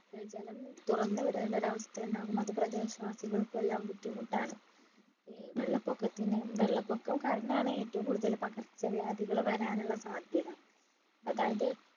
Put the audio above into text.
ജലം തുറന്നു വിടേണ്ട ഒരവസ്ഥ ഉണ്ടാകും അത് പ്രദേശവാസികൾക്കൊക്കെ എല്ലാം ബുദ്ധിമുട്ടാണ് ഏർ വെള്ളപ്പൊക്കത്തിന് വെള്ളപൊക്കം കാരണാണ് ഏറ്റവും കൂടുതല് പകർച്ചവ്യാധികൾ വരാനുള്ള സാധ്യത അതായത്